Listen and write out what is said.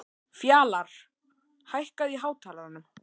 Fjalarr, hækkaðu í hátalaranum.